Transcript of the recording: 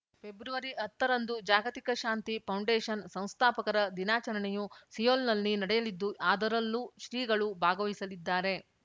ಫೆಬ್ರವರಿಹತ್ತರಂದು ಜಾಗತಿಕ ಶಾಂತಿ ಪೌಂಡೇಶನ್‌ ಸಂಸ್ಥಾಪಕರ ದಿನಾಚರಣೆಯು ಸಿಯೋಲ್‌ನಲ್ಲಿ ನಡೆಯಲಿದ್ದು ಅದರಲ್ಲೂ ಶ್ರೀಗಳು ಭಾಗವಹಿಸಲಿದ್ದಾರೆ